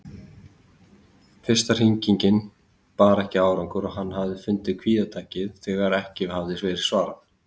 Fyrsta hringing bar ekki árangur og hann hafði fundið kvíðatakið þegar ekki hafði verið svarað.